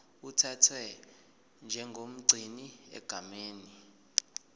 uthathwa njengomgcini egameni